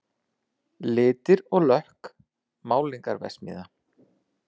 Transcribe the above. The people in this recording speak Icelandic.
Litir og lökk, málningarverksmiðja